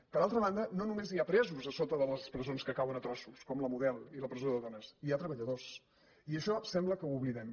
per altra banda no només hi ha presos a sota de les presons que cauen a trossos com la model i la presó de dones hi ha treballadors i això sembla que ho oblidem